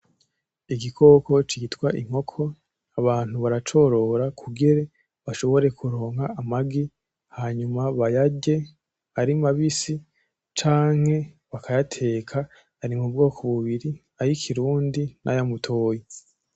Igikoko citwa inkoko, abantu baracorora kugira bashobore kuronka amagi hanyuma bayarye ari mabisi canke bakayateka, ari m’ubwoko bubiri: ay'ikirundi, nay’amutoyi.